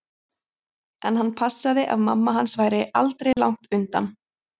En hann passaði að mamma hans væri aldri langt undan.